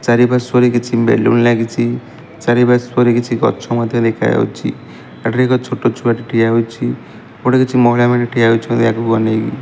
ଚାରି ପାର୍ଶ୍ୱରେ କିଛି ବେଲୁନ ଲାଗିଚି ଚାରି ପାର୍ଶ୍ୱରେ କିଛି ଗଛ ମଧ୍ୟ ଦେଖାଯାଉଛି ଏଠିରେ ଏକ ଛୋଟ ଛୁଆଟି ଠିଆ ହେଇଛି ଏପଟେ କିଛି ମହିଳା ଠିଆ ହୋଇଛନ୍ତି ଆଗକୁ ଅନେଇକି।